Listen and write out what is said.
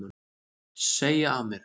Segja af mér